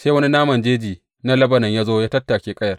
Sai wani naman jeji na Lebanon ya zo ya tattake ƙayar.